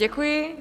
Děkuji.